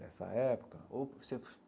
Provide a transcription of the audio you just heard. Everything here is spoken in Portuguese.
Dessa época?